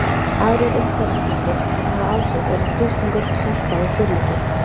Aðrir umhverfisþættir sem hafa áhrif eru þrýstingur, selta og súrleiki.